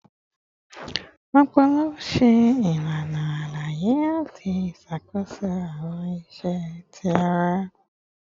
Ọpọlọ ṣe ilana alaye ati ṣakoso awọn iṣẹ ti ara